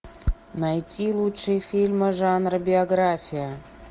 найти лучшие фильмы жанра биография